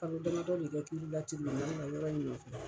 Kalo damadɔ de bɛ k'ulu la la yɔrɔ in nɔɲɛ.